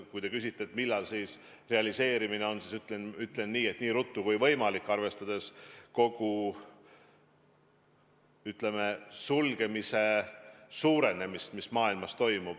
Kui te küsite, millal see realiseerub, siis ütlen, et nii ruttu kui võimalik, arvestades piiride sulgemise suurenemist, mida me maailmas näeme.